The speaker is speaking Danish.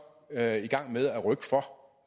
det er i gang med at rykke for